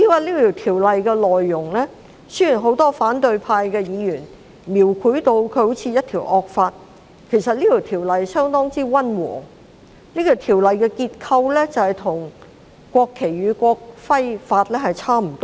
至於《條例草案》的內容，雖然很多反對派議員將《條例草案》描繪成好像是一項惡法，但其實《條例草案》相當溫和，其結構與《國旗及國徽條例》相若。